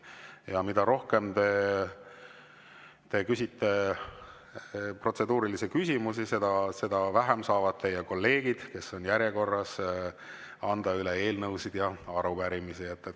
Ja mida rohkem te küsite protseduurilisi küsimusi, seda vähem saavad teie kolleegid, kes on järjekorras, anda üle eelnõusid ja arupärimisi.